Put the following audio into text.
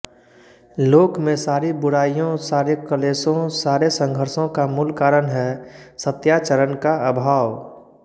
लोक में सारी बुराइयों सारे क्लेशों सारे संघर्षो का मूल कारण है सत्याचरणका अभाव